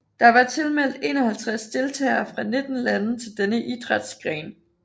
Der var tilmeldt 51 deltagere fra 19 lande til denne idrætsgren